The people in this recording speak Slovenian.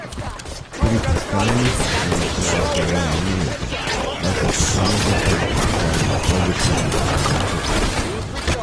Pri tiskalnikih namreč traja skoraj eno leto, da s posamezno stranko ustvarimo pozitivni denarni tok.